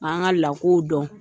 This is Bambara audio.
dɔn.